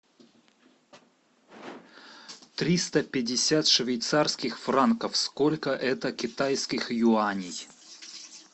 триста пятьдесят швейцарских франков сколько это китайских юаней